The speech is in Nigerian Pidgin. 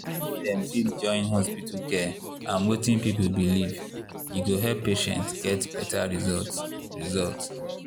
if dem fit join hospital care and wetin people believe e go help patients get better result. result.